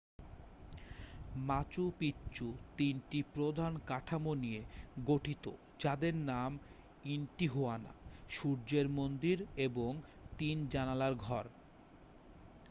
মাচু Picchu তিনটি প্রধান কাঠামো নিয়ে গঠিত যাদের নাম ইন্টিহুয়ানা সুর্যের মন্দির এবং তিন জানালার ঘর